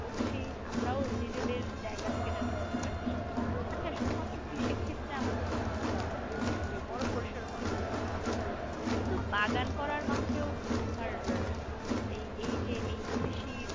করছি আমরাও নিজেদের জায়গা থেকে যতটুকু পারছি । আচ্ছা শুধু মাত্র কৃষিক্ষেত্রে আমরা তো বা কী বলবো যে বড় পরিসরে কথা বললাম। তুমি কিন্তু বাগান করার মাঝেও তোমার এই এই যে এই কৃষির